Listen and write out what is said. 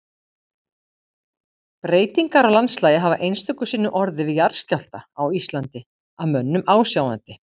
Breytingar á landslagi hafa einstöku sinnum orðið við jarðskjálfta á Íslandi að mönnum ásjáandi.